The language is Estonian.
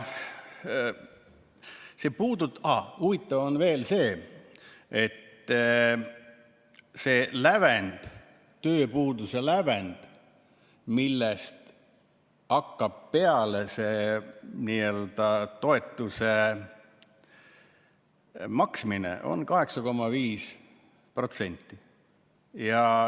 Huvitav on veel see, et see tööpuuduse lävend, millest hakkab peale see n‑ö toetuse maksmine, on 8,5%.